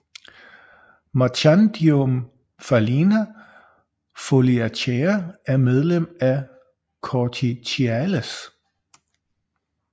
Marchandiomphalina foliacea er medlem af Corticiales